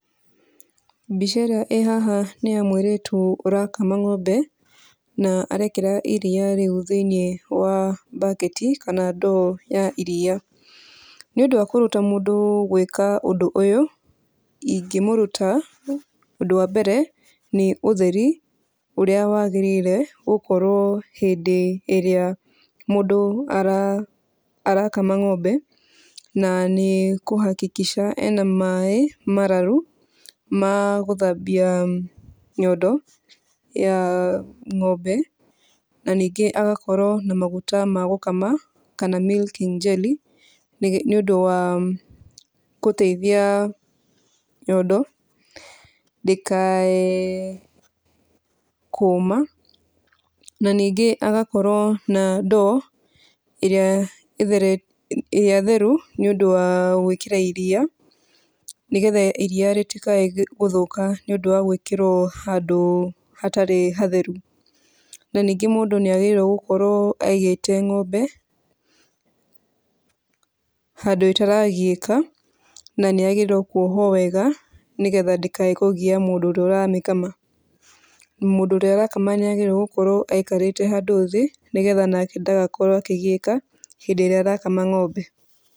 Mbica ĩrĩa ĩĩ haha nĩ ya mũirĩtu ũrakama ng'ombe na arekĩra iria rĩu thĩinĩ wa mbaketi kana ndoo ya iria , nĩ ũndũ wa kũruta mũndũ gwĩka ũndũ ũyũ, ingĩmũruta ũndũ wa mbere nĩ ũther ũrĩa wagĩrĩire gũkorwo hĩndĩ ĩrĩa mũndũ arakama ng'ombe na nĩ kũhakikisha ena maĩ mararu magũthambia nyondo ya ng'ombe na ningĩ agakorwo na maguta ma gũkama kana milking jelly nĩ ũndũ wa gũteithia nyondo ndĩka kũma na ningĩ agakorwo na ndoo ĩrĩa theru nĩ ũndũ wa gwĩkĩra iria nĩgetha iria rĩtikae gũthũka nĩ ũndũ gwĩkĩrwo handũ hatarĩ hatheru na ningĩ mũndũ nĩ agĩtĩirwo gũkorwo aigĩte ng'ombe handũ ĩtaragiĩka na nĩ yagĩrĩirwo kwohwo wega nĩgetha ndĩkaiye, mũndũ ũrĩa ũramĩkama, mũndũ ũrĩa ũramĩkama nĩ agĩrĩirwo gũkorwo aikarĩte handũ thĩ nĩgetha nake ndagakorwo akĩgiĩka hĩndĩ ĩrĩa arakama ng'ombe.